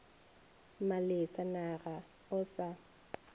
malesa na ga o sa